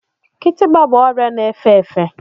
Kitikpa bụ ọrịa na-efe efe.